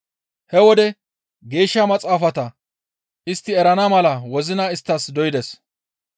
He wode Geeshsha Maxaafata istti erana mala wozina isttas doydes.